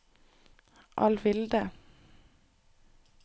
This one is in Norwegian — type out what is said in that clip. Alvilde